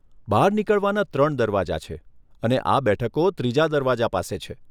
બહાર નીકળવાના ત્રણ દરવાજા છે અને આ બેઠકો ત્રીજા દરવાજા પાસે છે.